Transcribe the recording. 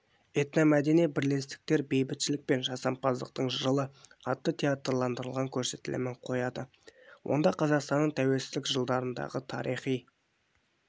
этномәдени бірлестіктер бейбітшілік пен жасампаздықтың жылы атты театрландырылған көрсетілімін қояды онда қазақстанның тәуелсіздік жылдарындағы тариіи